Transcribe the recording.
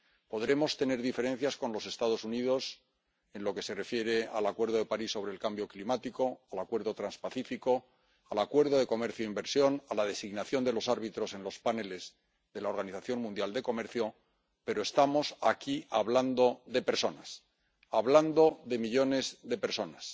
Podremos tener diferencias con los Estados Unidos en lo que se refiere al Acuerdo de París sobre el cambio climático, al Acuerdo Transpacífico, al acuerdo de comercio e inversión, a la designación de los árbitros en los grupos especiales de la Organización Mundial del Comercio, pero estamos aquí hablando de personas, hablando de millones de personas